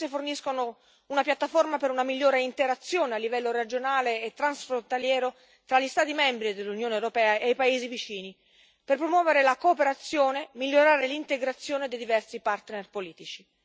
Esse forniscono una piattaforma per una migliore interazione a livello regionale e transfrontaliero fra gli Stati membri dell'Unione europea e i paesi vicini per promuovere la cooperazione e migliorare l'integrazione dei diversi partner politici.